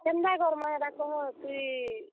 କେନ୍ ତା କର୍ ମା ହେଟା କହ ତୁଇ।